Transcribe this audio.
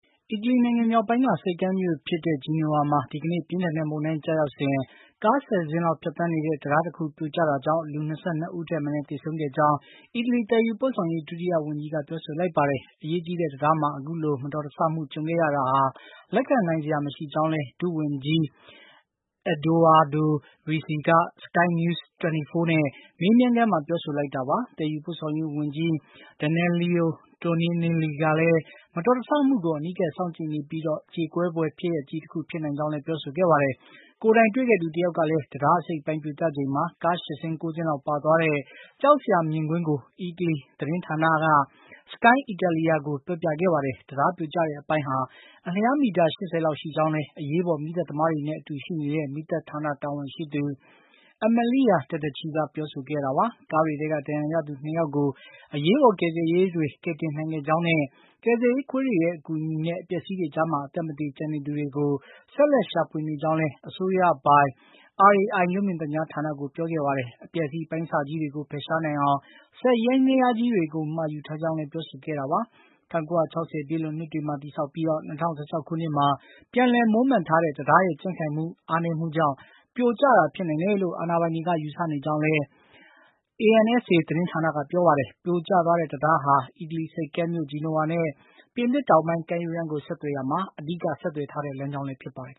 အီတလီနိုင်ငံ မြောက်ပိုင်းက ဆိပ်ကမ်းမြို့ဖြစ်တဲ့ Genoa မှာ ဒီကနေ့ ပြင်းထန်တဲ့မုန်တိုင်း ကျရောက်စဉ် ကား ၁၀ စင်းလောက် ဖြတ်သန်းနေတဲ့ တံတားတခု ပြိုကျရာက လူ ၃၅ဦးထက် မနည်း သေဆုံးခဲ့ကြောင်း အီတလီ သယ်ယူပို့ဆောင်ရေး ဒုတိယဝန်ကြီးက ပြောဆိုလိုက်ပါတယ်။ အရေးကြီးတဲ့ တံတားမှာ အခုလို မတော်တဆမှု ကြုံခဲ့ရတာဟာ လက်ခံနိုင်စရာ မရှိကြောင်းလည်း ဒုတိယဝန်ကြီး Edoardo Rixi က SkyNews24 နဲ့ မေးမြန်းခန်းမှာ ပြောဆိုလိုက်တာပါ။ သယ်ယူပို့ဆောင်ရေးဝန်ကြီး Danilo Toninelli ကလည်း မတော်တဆမှုကို အနီးကပ်စောင့်ကြည့်နေပြီး၊ ကြေကွဲဖွယ်ဖြစ်ရပ်ကြီးတခု ဖြစ်နိုင်ကြောင်းလည်း ပြောဆိုခဲ့ပါတယ်။ ကိုယ်တိုင်တွေ့ခဲ့သူ တယောက်ကလည်း တံတားတစိတ်တပိုင်း ပြိုကျချိန်မှာ ကား ၈ စင်း ၉ စင်းလောက် ပါသွားတဲ့ ကြောက်စရာ မြင်ကွင်းကို အီတလီသတင်းဌာနက Sky Italia ကို ပြောပြခဲ့ပါတယ်။ တံတားပြိုကျတဲ့အပိုင်းဟာ အလျားမီတာ ၈၀ လောက် ရှိကြောင်းလည်း အရေးပေါ် မီးသတ်သမားတွေနဲ့ အတူရှိနေတဲ့ မီးသတ်ဌာနတာဝန်ရှိသူ Amalia Tedeschi ကပြောဆိုခဲ့တာပါ။ ကားတွေထဲက ဒဏ်ရာရသူ ၂ ယောက်ကို အရေးပေါ် ကယ်ဆယ်ရေးတွေ ကယ်တင်နိုင်ခဲ့ကြောင်းနဲ့ ကယ်ဆယ်ရေးခွေးတွေရဲ့ အကူအညီနဲ့ အပျက်အစီးတွေကြားမှာ အသက်မသေ ကျန်နေသူတွေကို ဆက်လက်ရှာဖွေနေကြောင်းလည်း အစိုးရပိုင် RAI ရုပ်မြင်သံကြားဌာနကို ပြောခဲ့ပါတယ်။ အပျက်အစီး အပိုင်းအစကြီးတွေကို ဖယ်ရှားနိုင်အောင် စက်ယန္တယားကြီးတွေကို မှာယူထားကြောင်းလည်း ပြောဆိုခဲ့တာပါ။ ၁၉၆၀ ပြည့်လွန်နှစ်တွေမှာ တည်ဆောက်ပြီး ၂၀၁၆ ခုနှစ်မှာ ပြန်လည်မွမ်းမံထားတဲ့ တံတားရဲ့ ကြံ့ခိုင်မှုအားနည်းမှုကြောင့် ပြိုကျတာ ဖြစ်နိုင်တယ်လို့ အာဏာပိုင်တွေ ယူဆနေကြောင်းလည်း ANSA သတင်းဌာနကပြောပါတယ်။ ပြိုကျသွားတဲ့ တံတားဟာ အီတလီဆိပ်ကမ်းမြို့ Genoa နဲ့ ပြင်သစ်တောင်ပိုင်း ကမ်းရိုးတမ်းကို ဆက်သွယ်ရာမှာ အဓိကဆက်သွယ်ထားတဲ့ လမ်းကြောင်းလည်း ဖြစ်ပါတယ်